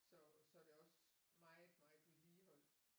Så så det er også meget meget vedligehold